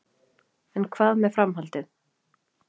En hvað með framhaldið?